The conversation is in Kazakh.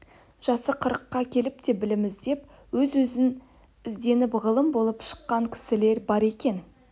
жасы қырыққа келіп те білім іздеп өз-өзінен ізденіп ғалым болып шыққан кісілер бар екен